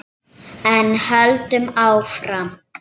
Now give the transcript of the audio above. En höldum áfram